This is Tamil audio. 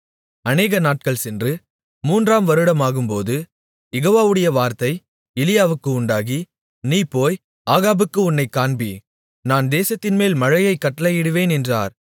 அநேகநாட்கள் சென்று மூன்றாம் வருடமாகும்போது யெகோவாவுடைய வார்த்தை எலியாவுக்கு உண்டாகி நீ போய் ஆகாபுக்கு உன்னைக் காண்பி நான் தேசத்தின்மேல் மழையைக் கட்டளையிடுவேன் என்றார்